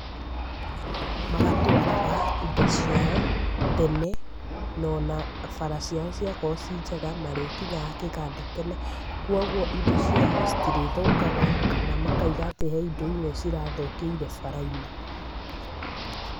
Magatwaraga indo ciao tene, na ona bara ciao ciakorwo irĩ njega marĩkinyaga kĩganda tene kũguo indo ciao citirĩthũkaga kana makauga he indo imwe cirathũkĩire bara-inĩ